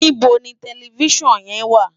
Nibó ni tèlèfisán yèn wá?